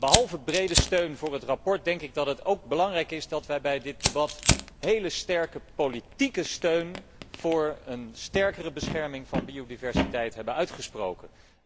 Behalve brede steun voor het verslag denk ik dat het ook belangrijk is dat wij ons in dit debat voor heel sterke politieke steun voor een sterkere bescherming van biodiversiteit hebben uitgesproken.